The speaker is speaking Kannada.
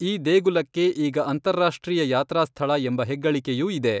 ಈ ದೇಗುಲಕ್ಕೆ ಈಗ ಅಂತಾರಾಷ್ಟ್ರೀಯ ಯಾತ್ರಾಸ್ಥಳ ಎಂಬ ಹೆಗ್ಗಳಿಕೆಯೂ ಇದೆ.